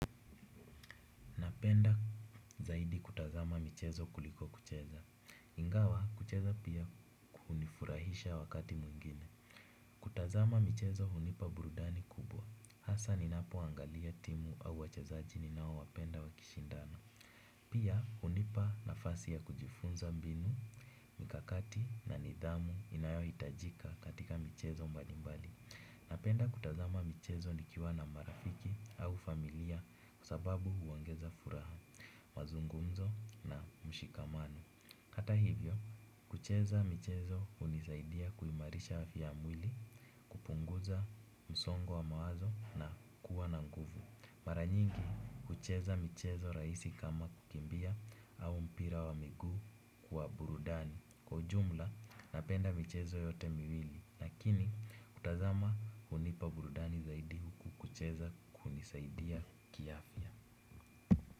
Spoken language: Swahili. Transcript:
Napenda zaidi kutazama michezo kuliko kucheza. Ingawa kucheza pia hunifurahisha wakati mwingine. Kutazama michezo hunipa burudani kubwa. Hasa ninapo angalia timu au wachezaji ninao wapenda wakishindana. Pia hunipa nafasi ya kujifunza mbinu, mikakati na nidhamu inayohitajika katika michezo mbalimbali. Napenda kutazama michezo nikiwa na marafiki au familia kwa sababu huongeza furaha. Mazungumzo na mshikamano. Hata hivyo, kucheza michezo hunisaidia kuimarisha afya ya mwili. Kupunguza msongo wa mawazo na kuwa na nguvu. Maranyingi, kucheza michezo rahisi kama kukimbia au mpira wa miguu kwa burudani. Kwa ujumla, napenda michezo yote miwili lakini, kutazama hunipa burudani zaidi huku kucheza kunisaidia kiafya.